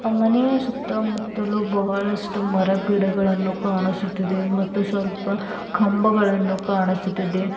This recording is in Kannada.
ಮನೆಯ ಸುತ್ತ ಮುತ್ತಲೂ ಬಹಳಷ್ಟು ಮರ ಗಿಡಗಳನ್ನು ಕಾಣಿಸುತ್ತಿದೆ ಮತ್ತು ಸ್ವಲ್ಪ ಕಂಬಗಳನ್ನು ಕಾಣಿಸುತ್ತಿದೆ.